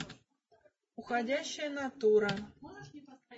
уходящая натура